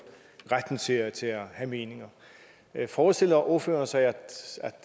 retten til at have meninger forestiller ordføreren sig at